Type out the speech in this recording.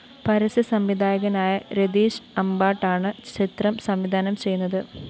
പരസ്യ സംവിധായകനായ രതീഷ് അമ്ബാട്ടാണ് ചിത്രം സംവിധാനം ചെയ്യുന്നത്